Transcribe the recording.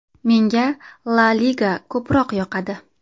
Menga La liga ko‘proq yoqadi.